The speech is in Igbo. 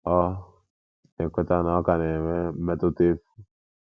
O na-ekweta na ọ ka na-enwe mmetụta efu.